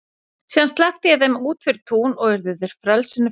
Síðan sleppti ég þeim út fyrir tún og urðu þeir frelsinu fegnir.